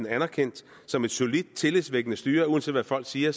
anerkendt som et solidt tillidsvækkende styre uanset hvad folk siger